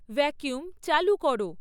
vacuum চালু করো